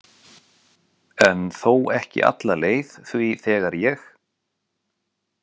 En þó ekki alla leið því þegar ég.